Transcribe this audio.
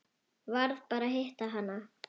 Varð bara að hitta hana.